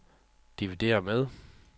divideret med